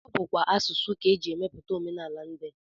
Ọ bụkwa asụsụ ka e ji emepụta omenala ndị